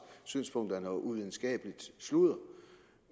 synspunkter er noget uvidenskabeligt sludder